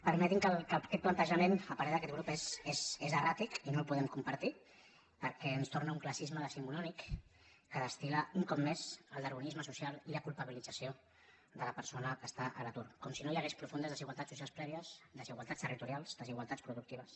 permeti’m que aquest plantejament a parer d’aquest grup és erràtic i no el podem compartir perquè ens torna un classisme decimonònic que destilmés el darwinisme social i la culpabilització de la persona que està a l’atur com si no hi haguessin profundes des igualtats socials prèvies desigualtats territo rials desigualtats productives